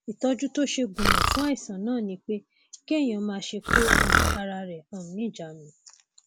ìtọjú tó ṣe gúnmọ fún àìsàn náà ni pé kéèyàn máṣe kó um ara rẹ um níjàánu